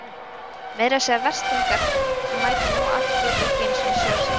Meira að segja Verzlingar sem mæta nú á allt létu ekki einu sinni sjá sig.